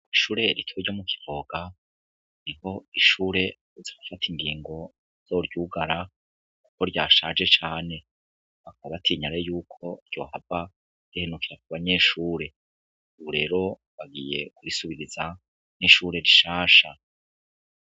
Ishure rito ryo mu kivoga, niho ishure riherutse gufat' ingingo zo ryugara kuko ryashaje cane, bakaba batinya rero yuko ryo hava rihenukira ku banyeshure uburero bagiye kurisubiriza n'ishure rishasha.